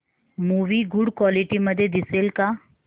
movie good quality मध्ये दिसेल का